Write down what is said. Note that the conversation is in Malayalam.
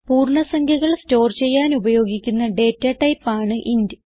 പൂർണ്ണ സംഖ്യകൾ സ്റ്റോർ ചെയ്യാൻ ഉപയോഗിക്കുന്ന ഡേറ്റ ടൈപ്പ് ആണ് ഇന്റ്